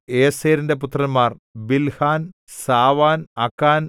ഏസെരിന്റെ പുത്രന്മാർ ബിൽഹാൻ സാവാൻ അക്കാൻ